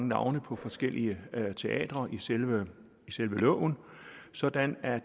navne på forskellige teatre i selve selve loven sådan at